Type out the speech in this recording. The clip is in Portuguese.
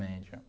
média.